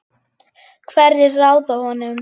Hverjir ráða honum?